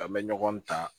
An bɛ ɲɔgɔn ta